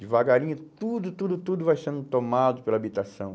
Devagarinho, tudo, tudo, tudo vai sendo tomado pela habitação.